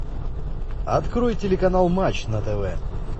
открой телеканал матч на тв